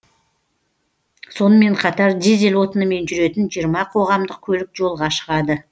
сонымен қатар дизель отынымен жүретін жиырма қоғамдық көлік жолға шығады